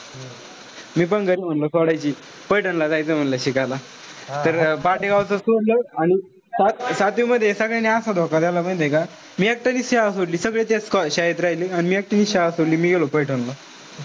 मी पण घरी म्हणलो सोडायची. पैठणला जायचंय म्हणलं शिकायला. तर पाटेगावच सोडलं. आणि सात सातवी मध्ये सगळ्यांनी असा धोका दिला माहितीय का. मी एकट्यानेच शाळा सोडली. सगळे त्याच को शाळेत राहिले. आणि एकटीनेच शाळा सोडली. मी गेलो पैठणला.